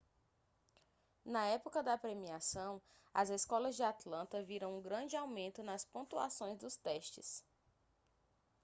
na época da premiação as escolas de atlanta viram um grande aumento nas pontuações dos testes